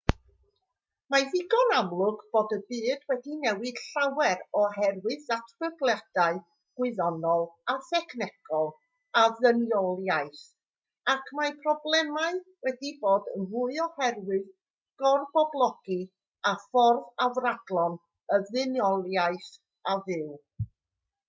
mae'n ddigon amlwg bod y byd wedi newid llawer oherwydd datblygiadau gwyddonol a thechnolegol y ddynoliaeth ac mae problemau wedi dod yn fwy oherwydd gorboblogi a ffordd afradlon y ddynoliaeth o fyw